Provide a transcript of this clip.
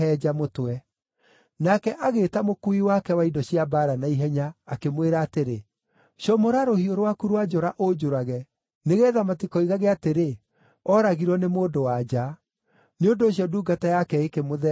Nake agĩĩta mũkuui wake wa indo cia mbaara na ihenya, akĩmwĩra atĩrĩ, “Comora rũhiũ rwaku rwa njora ũnjũrage, nĩgeetha matikoigage atĩrĩ, ‘Ooragirwo nĩ mũndũ-wa-nja.’ ” Nĩ ũndũ ũcio ndungata yake ĩkĩmũtheeca, agĩkua.